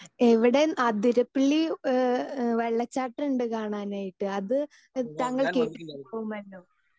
Speaker 2 ഇവിടെ അതിരപ്പള്ളി ഏഹ് ഏഹ് വെള്ളച്ചാട്ടമുണ്ട് കാണാനായിട്ട് അത് താങ്കൾ കേട്ടിട്ടുണ്ടാവുമല്ലേ?